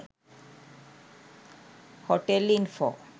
hotel info